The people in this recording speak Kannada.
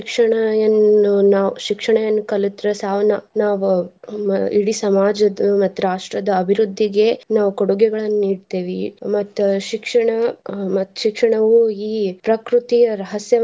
ಶಿಕ್ಷಣ ಎನ್ನು ನಾವ್ ಶಿಕ್ಷಣವನ್ ಕಲತ್ರ ನಾವ್ ಇಡೀ ಸಮಾಜದ್ದು ಮತ್ತ್ ರಾಷ್ಟ್ರದ ಅಭಿವೃದ್ದಿಗೆ ನಾವ್ ಕೊಡುಗೆಗಳನ್ನ ನೀಡ್ತಿವಿ. ಮತ್ತ್ ಶಿಕ್ಷಣ ಮತ್ತ್ ಶಿಕ್ಷಣವು ಈ ಪ್ರಕೃತಿಯ ರಹಸ್ಯವನ್.